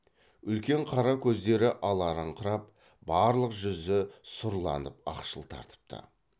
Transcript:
үлкен қара көздері аларыңқырап барлық жүзі сұрланып ақшыл тартыпты